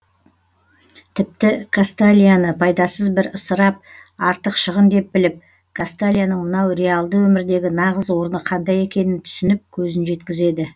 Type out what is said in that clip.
тіпті касталияны пайдасыз бір ысырап артық шығын деп біліп касталияның мынау реалды өмірдегі нағыз орны қандай екенін түсініп көзін жеткізеді